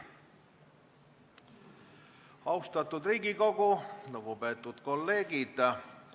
Austatud Riigikogu, lugupeetud kolleegid!